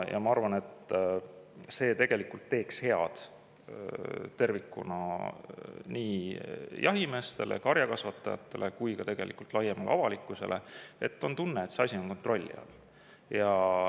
Ja ma arvan, et see teeks head tervikuna nii jahimeestele, karjakasvatajatele kui ka tegelikult laiemale avalikkusele,, et see asi on kontrolli all.